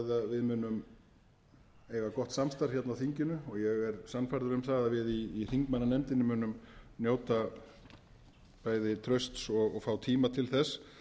við munum eiga gott samstarf hérna á þinginu og ég er sannfærður um það að við í þingmannanefndinni munum njóta bæði trausts og fá tíma til þess